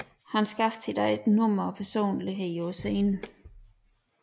Han skabte sit eget nummer og personlighed på scenen